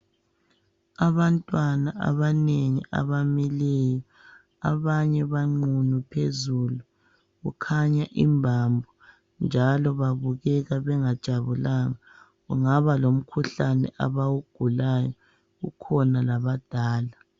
Abantwana abanengi abamileyo . Abanye banqunu phezulu , kukhanya imbambo njalo babukeka bengajabulanga . Kungaba lomkhuhlane abawugulayo , kukhona labadala.